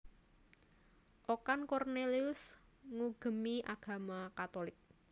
Okan Cornelius ngugemi agama Katolik